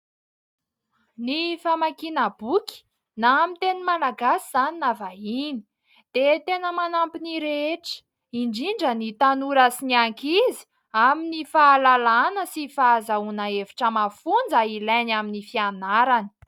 Ny famakiana boky na amin'ny teny Malagasy izany na vahiny dia tena manampy ny rehetra indrindra ny tanora sy ny ankizy amin'ny fahalalana sy fahazahoana hevitra mafonja ilainy amin'ny fianarany.